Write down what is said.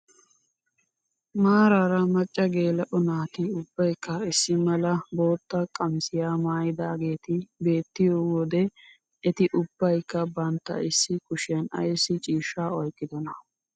Maarara macca geela'o naati ubbaykka issi mala bootta qamisiyaa maayidaageti beettiyoo wode eti ubbayikka bantta issi kushiyaan ayssi ciishshaa oyqqidoonaa?